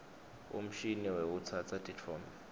umshini wekutsatsa titfombe